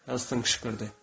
Helsing qışqırdı.